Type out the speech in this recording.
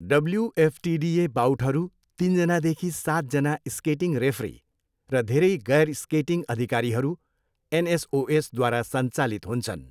WFTDA बाउटहरू तिन जनादेखि सात जना स्केटिङ रेफरी र धेरै गैर स्केटिङ्ग अधिकारीहरू, एनएसओएस, द्वारा सञ्चालित हुन्छन्।